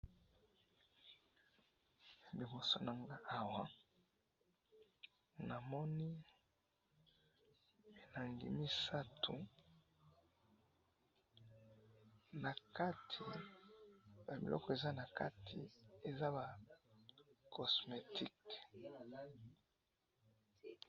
liboso nanga awa namoni milangi misatu nakati ba biloko eza nakati eza ba cosmetik.